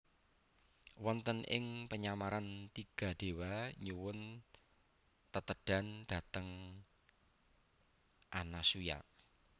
Wonten ing penyamaran tiga déwa nyuwun tetedhan dhateng Anasuya